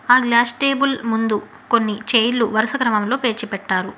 ఆ glass table ముందు కొన్ని చైర్లు వరుస క్రమంలో పేర్చి పెట్టారు.